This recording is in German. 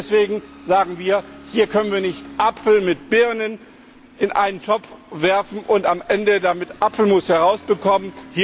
Deswegen sagen wir, hier können wir nicht Äpfel mit Birnen in einen Topf werfen und am Ende damit Apfelmus herausbekommen.